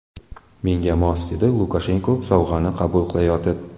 Menga mos”, dedi Lukashenko sovg‘ani qabul qilayotib.